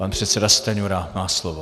Pan předseda Stanjura má slovo.